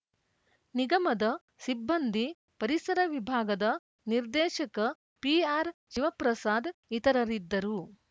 ನಿಗಮದ ಸಿಬ್ಬಂದಿ ಪರಿಸರ ವಿಭಾಗದ ನಿರ್ದೇಶಕ ಪಿಆರ್‌ಶಿವಪ್ರಸಾದ್‌ ಇತರರಿದ್ದರು